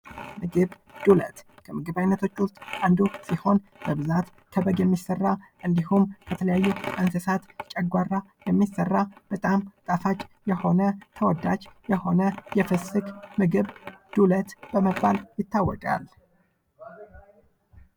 ዱለት: የተከተፈ የበግ ወይም የፍየል ጉበት፣ ኩላሊትና ሆድ በቅመማ ቅመም ተቀላቅሎ የሚሠራ ጣፋጭ የኢትዮጵያ ምግብ ነው።